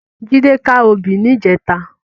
Jide ká óbì nijètá